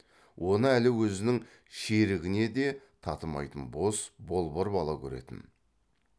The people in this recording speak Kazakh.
оны әлі өзінің шерігіне де татымайтын бос болбыр бала көретін